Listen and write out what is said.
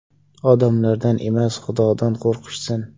Odamlardan emas, Xudodan qo‘rqishsin!